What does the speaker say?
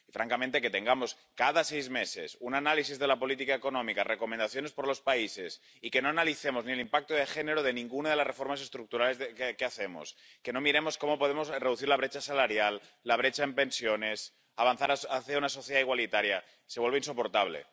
Francamente, que tengamos cada seis meses un análisis de la política económica, recomendaciones por países, y que no analicemos ni el impacto de género de ninguna de las reformas estructurales que hacemos, ni miremos cómo podemos reducir la brecha salarial y la brecha en pensiones o avanzar hacia una sociedad igualitaria se vuelve insoportable.